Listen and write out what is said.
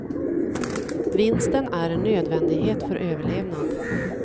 Vinsten är en nödvändighet för överlevnad.